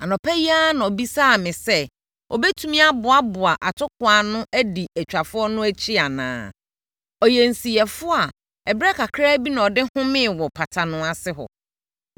Anɔpa yi ara na ɔbisaa me sɛ, ɔbɛtumi aboaboa atokoɔ ano adi atwafoɔ no akyi anaa. Ɔyɛ nsiyɛfoɔ a ɛberɛ kakra bi na ɔde homee wɔ pata no ase hɔ.”